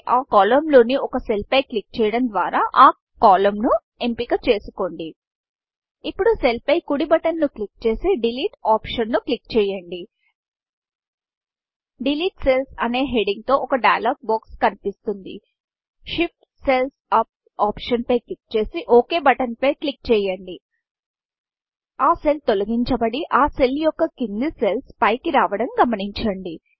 ఆ columnకాలమ్ లోని ఒక సెల్ పై క్లిక్ చేయడం ద్వార ఆ కోలమ్న్ కాలమ్ను ఎంచుకోండి ఇప్పుడు సెల్ సెల్పై కుడి బటన్ బటన్ను క్లిక్ చేసి డిలీట్ optionడిలీట్ ఆప్షన్ ను క్లిక్ చేయండి డిలీట్ Cellsడిలీట్ సెల్ల్స్ అనే హెడింగ్ హెడ్డింగ్ తో ఒక డైలాగ్ బాక్స్ డైలాగ్ బాక్స్కనిపిస్తుంది Shift సెల్స్ యూపీ optionషిఫ్ట్ సెల్స్ అప్ ఆప్షన్ పై క్లిక్ చేసి ఒక్ బటన్ ఓక్ బటన్పై క్లిక్ చేయండి ఆ సెల్ తొలగించబడి ఆ సెల్ యొక్క కింది సెల్ల్స్ పైకి రావడం గమనించండి